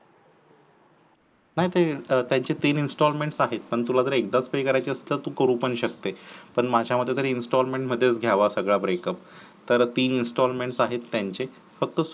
नाही तयांचे तीन installement आहेत, पण तुला जर एकदाच पे करायच असल तरी तू करू शकतेस, पण माझ्या मते तरी installement मध्येच गयावा सगळा break up तर तीन installement आहेत तेंचे